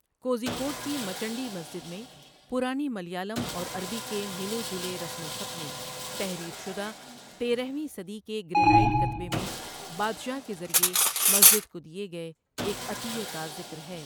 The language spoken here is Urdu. کوژی کوڈ کی مچنڈی مسجد میں پرانی ملیالم اور عربی کے ملے جلے رسم الخط میں تحریر شدہ، تیرہ ویں صدی کے گرینائٹ کتبے میں بادشاہ کے ذریعے مسجد کو دیے گئے ایک عطیے کا ذکر ہے۔